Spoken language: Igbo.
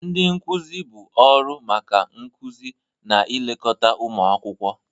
Ndị nkuzi bụ ọrụ maka nkuzi na ilekọta ụmụ akwụkwọ ha.